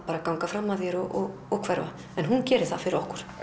ganga fram af þér og og hverfa hún gerir það fyrir okkur